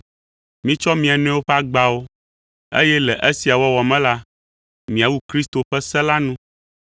Mitsɔ mia nɔewo ƒe agbawo, eye le esia wɔwɔ me la, miawu Kristo ƒe se la nu.